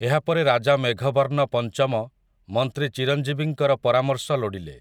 ଏହାପରେ ରାଜା ମେଘବର୍ଣ୍ଣ ପଂଚମ ମନ୍ତ୍ରୀ ଚିରଂଜୀବିଙ୍କର ପରାମର୍ଶ ଲୋଡ଼ିଲେ ।